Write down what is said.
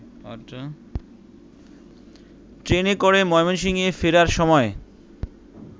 ট্রেনে করে ময়মনসিংহে ফেরার সময়